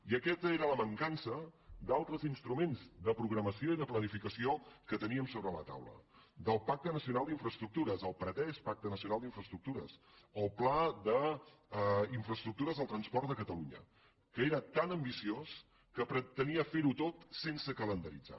i aquesta era la mancança d’altres instruments de programació i de planificació que teníem sobre la taula del pacte nacional per a les infraestructures el pretès pacte nacional per a les infraestructures el pla d’infraestructures del transport de catalunya que era tan ambiciós que pretenia fer ho tot sense calendaritzar